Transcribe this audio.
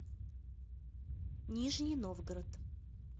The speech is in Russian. нижний новгород